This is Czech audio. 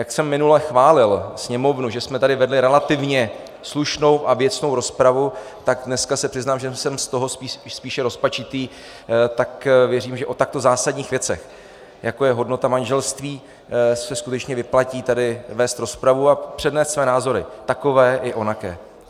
Jak jsem minule chválil Sněmovnu, že jsme tady vedli relativně slušnou a věcnou rozpravu, tak dneska se přiznám, že jsem z toho spíše rozpačitý, tak věřím, že o takto zásadních věcech, jako je hodnota manželství, se skutečně vyplatí tady vést rozpravu a přednést své názory, takové i onaké.